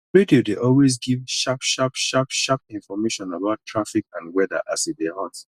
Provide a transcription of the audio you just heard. radio dey always give sharp sharp sharp sharp information about traffic and weather as e dey hot